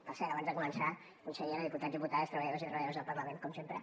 per cert abans de començar consellera diputats i diputades treballadors i treballadores del parlament com sempre